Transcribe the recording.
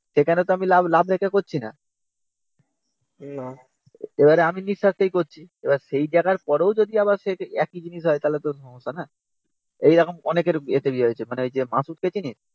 সেখানে তো আমি লাভ রেখে করছি না। এবারে আমি নিঃস্বার্থে করছি। এবার সেই জায়গার পরেও যদি আবার সেই একই জিনিস হয় তাহলে তো সমস্যা না। এরম অনেকের এতে হয়েছে ।ওই যে মাসুদ কে চিনিস?